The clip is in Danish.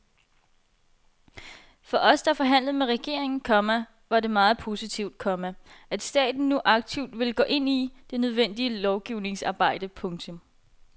For os der forhandlede med regeringen, komma var det meget positivt, komma at staten nu aktivt ville gå ind i det nødvendige lovgivningsarbejde. punktum